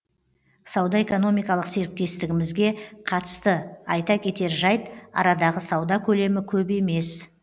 сауда экономикалық серіктестігімізге қатысты айта кетер жайт арадағы сауда көлемі көп емес